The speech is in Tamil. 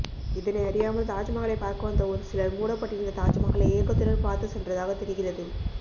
இதனை அறியாமல் தாஜ்மகாலை பார்க்க வந்த ஒரு சிலர் மூடப்பட்டிருந்த தாஜ்மஹாலை ஏக்கத்துடன் பார்த்து சென்றதாக தெரிகிறது